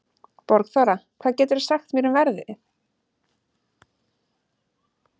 Borgþóra, hvað geturðu sagt mér um veðrið?